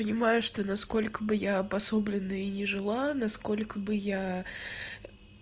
понимаешь ты насколько бы я обособленно и не жила насколько бы я